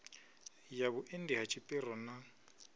ya vhuendi ha tshipiro na